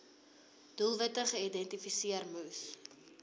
doelwitte geïdentifiseer moes